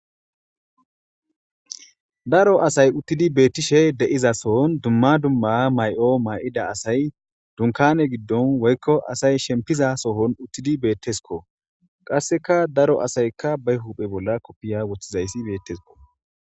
daro asay uttidi beettishe de7iza sohon dumma dumma may7o may7ida asay dunkane giddon woykko asay shempiza sohon uttidi beettesko qasseka daro asaykka bay huphe bolla koppiya woththizayssi beettesko.